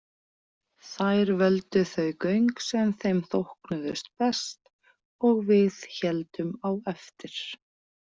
Þær völdu þau göng sem þeim þóknuðust best og við héldum á eftir.